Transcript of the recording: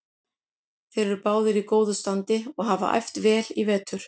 Þeir eru báðir í góðu standi og hafa æft vel í vetur.